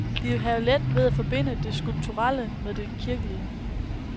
De vil have let ved at forbinde det skulpturelle med det kirkelige.